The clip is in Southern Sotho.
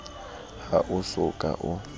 ha o so ka o